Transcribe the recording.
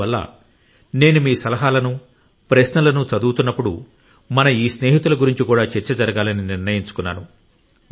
అందువల్ల నేను మీ సలహాలను ప్రశ్నలను చదువుతున్నప్పుడు మన ఈ స్నేహితుల గురించి కూడా చర్చ జరగాలని నిర్ణయించుకున్నాను